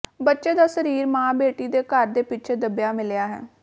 ਬੱਚੇ ਦਾ ਸਰੀਰ ਮਾਂ ਬੇਟੀ ਦੇ ਘਰ ਦੇ ਪਿੱਛੇ ਦੱਬਿਆ ਮਿਲਿਆ ਹੈ